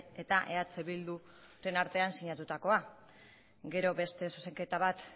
eta eh bilduren artean sinatutakoa gero beste zuzenketa bat